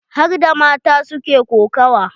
Harda mata su ke kokawa.